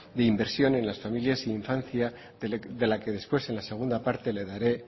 de inversión en las familias infancia de la que después en la segunda parte le daré